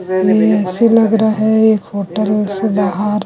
ये ऐसे लग रहा है एक होटल से बाहर--